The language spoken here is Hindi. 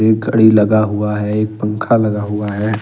एक घड़ी लगा हुआ है एक पंख लगा हुआ है।